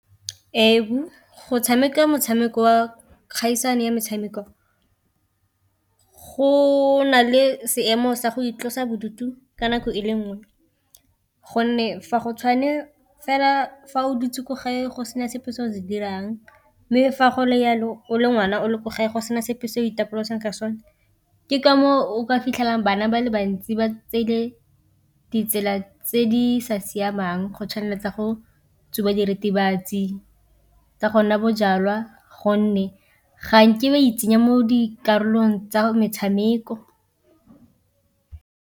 Ee, go tshameka motshameko wa kgaisano ya metshameko go na le seemo sa go itlosa bodutu ka nako e le nngwe, gonne fa go tshwane fela fa o dutse ko gae go sena sepe se o se dirang, mme fa go le jalo o le ngwana o le ko gae go sena sepe se o itapolosa ka sone. Ke ka moo o ka fitlhelang bana ba le bantsi ba tseile ditsela tse di sa siamang go tshwanang le tsa go tsuba diritibatsi, tsa gonwa bojalwa gonne ga nke ba itsenya mo dikarolong tsa metshameko.